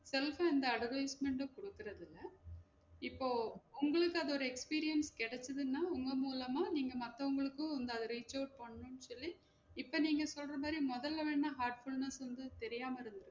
Self ஆ இந்த advertisement உம் குடுக்குறதில்ல இப்போ உங்களுக்கு அதோட experience கெடச்சதுனா உங்க மூலமா நீங்க மத்தவங்களுக்கும் இந்த reach out பண்ணும் சொல்லி இப்ப நீங்க சொல்ற மாதிரி மொதல்ல வேணா heartfulness வந்து தெரியாம இருந்து